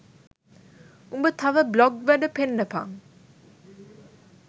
උඹ තව බ්ලොග් වැඩ පෙන්නපන්